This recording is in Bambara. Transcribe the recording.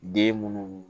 Den munnu